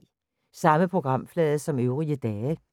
Samme programflade som øvrige dage